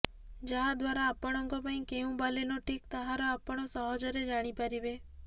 ଯାହା ଦ୍ବାରା ଆପଣଙ୍କ ପାଇଁ କେଉଁ ବାଲେନୋ ଠିକ୍ ତାହାର ଆପଣ ସହଜରେ ଜାଣି ପାରିବେ